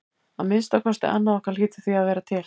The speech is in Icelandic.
Að minnsta kosti annað okkar hlýtur því að vera til.